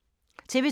TV 2